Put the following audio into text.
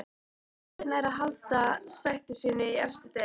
Hvaða lið nær að halda sæti sínu í efstu deild?